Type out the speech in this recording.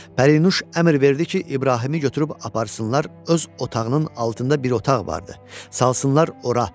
Pərinuş əmr verdi ki, İbrahimi götürüb aparsınlar öz otağının altında bir otaq vardı, salsınlar ora.